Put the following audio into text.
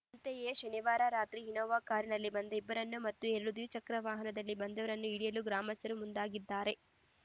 ಅಂತೆಯೇ ಶನಿವಾರ ರಾತ್ರಿ ಇನ್ನೋವಾ ಕಾರಿನಲ್ಲಿ ಬಂದ ಇಬ್ಬರನ್ನು ಮತ್ತು ಎರಡು ದ್ವಿಚಕ್ರ ವಾಹನದಲ್ಲಿ ಬಂದವರನ್ನು ಹಿಡಿಯಲು ಗ್ರಾಮಸ್ಥರು ಮುಂದಾಗಿದ್ದಾರೆ